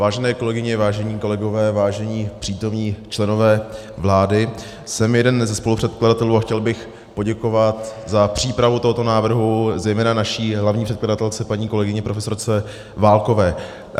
Vážené kolegyně, vážení kolegové, vážení přítomní členové vlády, jsem jeden ze spolupředkladatelů a chtěl bych poděkovat za přípravu tohoto návrhu zejména naší hlavní předkladatelce, paní kolegyni profesorce Válkové.